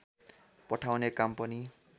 पठाउने काम पनि